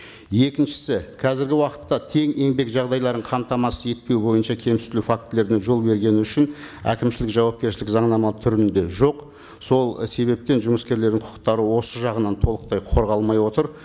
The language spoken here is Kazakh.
екіншісі қазіргі уақытта тең еңбек жағдайларын қамтамасыз етпеу бойынша фактілердің жол бергені үшін әкімшілік жауапкершілік заңнама түрінде жоқ сол себептен жұмыскерлердің құқықтары осы жағынан толықтай қорғалмай отыр